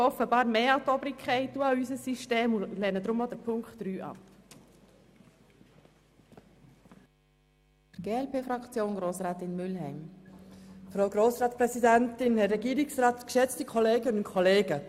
Wir glauben offenbar stärker an die Obrigkeit und unser System als der Motionär, und lehnen deshalb auch Punkt 3 ab.